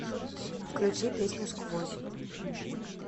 включи песню сквозь